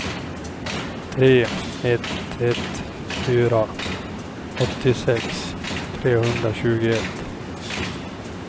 tre ett ett fyra åttiosex trehundratjugoett